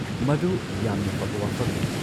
ꯃꯗꯨ ꯌꯥꯝꯅ ꯐꯕ ꯋꯥꯐꯝꯅꯤ!